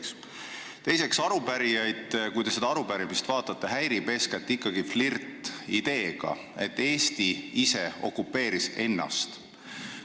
Teiseks, kui te seda arupärimist vaatate, siis näete, et arupärijaid häirib eeskätt ikkagi flirt ideega, et Eesti ise okupeeris ennast.